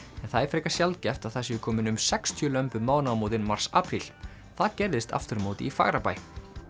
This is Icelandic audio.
en það er frekar sjaldgæft að það séu komin um sextíu lömb um mánaðamótin mars apríl það gerðist aftur á móti í Fagrabæ